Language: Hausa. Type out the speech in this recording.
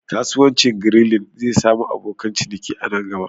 Kasuwancin Grilling zai sami abokan ciniki a nan gaba